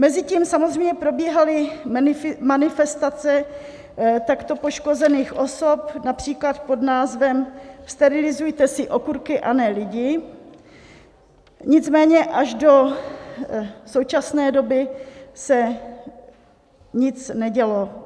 Mezitím samozřejmě probíhaly manifestace takto poškozených osob, například pod názvem Sterilizujte si okurky, a ne lidi, nicméně až do současné doby se nic nedělo.